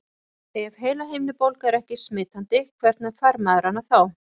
Ef heilahimnubólga er ekki smitandi, hvernig fær maður hana þá?